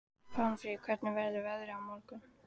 Pálmfríður, hvernig verður veðrið á morgun?